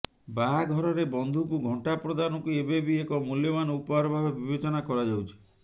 ବାହାଘରରେ ବନ୍ଧୁଙ୍କୁ ଘଣ୍ଟା ପ୍ରଦାନକୁ ଏବେ ବି ଏକ ମୂଲ୍ୟବାନ ଉପହାର ଭାବେ ବିବେଚନା କରାଯାଉଛି